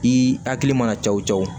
I hakili mana caw cɔ